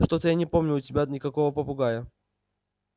что-то я не помню у тебя никакого попугая